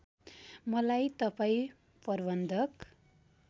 मलाई तपाईँ प्रबन्धक